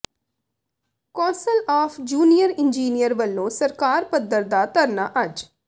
ਕੌ ਾਸਲ of junior engineer ਵਲੋਂ circle ਪੱਧਰ ਦਾ ਧਰਨਾ ਅੱਜ